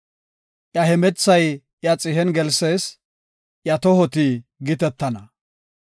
Iya hemethay iya xihen gelsees; iya tohoti gitetana.